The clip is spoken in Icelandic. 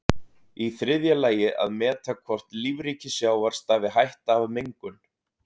Í þriðja lagi að meta hvort lífríki sjávar stafi hætta af mengun.